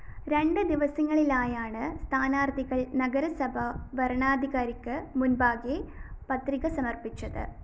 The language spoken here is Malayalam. രണ്ട് ദിവസങ്ങളിലായാണ് സ്ഥാനാര്‍ത്ഥികള്‍ നഗരസഭ വരണാധികാരിക്ക് മുന്‍പാകെ പത്രിക സമര്‍പ്പിച്ചത്